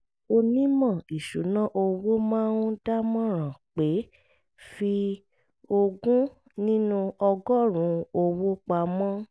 onímọ̀ ìṣúnná owó máa ń dámọ̀ràn pé fi ogún nínú ọgọ́rùn-ún owó pamọ́